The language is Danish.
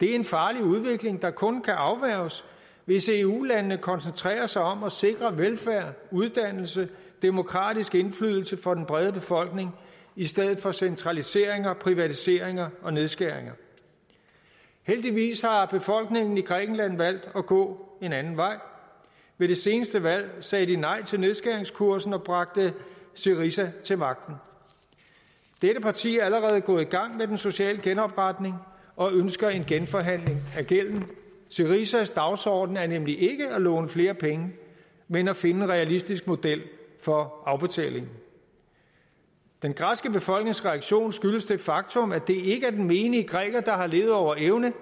det er en farlig udvikling der kun kan afværges hvis eu landene koncentrerer sig om at sikre velfærden uddannelse og demokratisk indflydelse for den brede befolkning i stedet for centraliseringer privatiseringer og nedskæringer heldigvis har befolkningen i grækenland valgt at gå en anden vej ved det seneste valg sagde de nej til nedskæringskursen og bragte syriza til magten dette parti er allerede gået i gang med den sociale genopretning og ønsker en genforhandling af gælden syrizas dagsorden er nemlig ikke at låne flere penge men at finde en realistisk model for afbetaling den græske befolknings reaktion skyldes det faktum at det ikke er den menige græker der har levet over evne